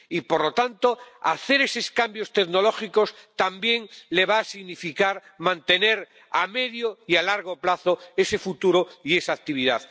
Y, por lo tanto, hacer esos cambios tecnológicos también va a significar mantener a medio y a largo plazo ese futuro y esa actividad.